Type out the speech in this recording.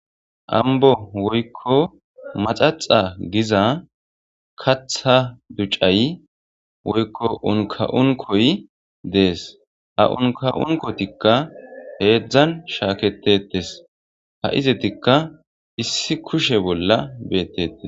Ambo woykko maxaxa giza katha ducay woykko unka'unkoy dees a unka'unkotikka heedzdzan shaaketetes ha izitikka issi kushe bolla beettetes.